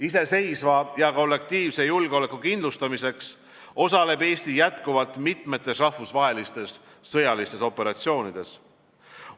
Iseseisva ja kollektiivse julgeoleku kindlustamiseks osaleb Eesti jätkuvalt mitmetes rahvusvahelistes sõjalistes operatsioonides.